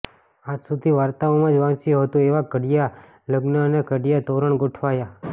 આજ સુધી વાર્તાઓમાં જ વાંચ્યું હતું એવાં ઘડિયાં લગ્ન અને ઘડિયાં તોરણ ગોઠવાયાં